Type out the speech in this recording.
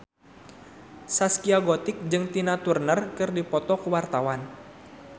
Zaskia Gotik jeung Tina Turner keur dipoto ku wartawan